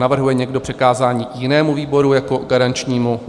Navrhuje někdo přikázání jinému výboru jako garančnímu?